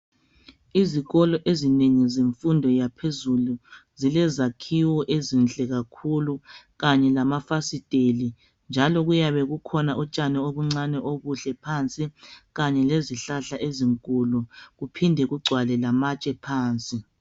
Izikolo ezinengi zemfundo yaphezulu zilezakhiwe ezinhle kakhulu kanye lamafasiteli njalo kuyabe kukhona utshani obuncane obuhle phansi kanye lezihlahla ezinkulu kuphinde kugcwale lamatshe phansi.